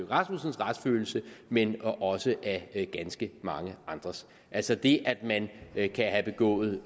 rasmussens retsfølelse men også af ganske mange andres altså det at man kan have begået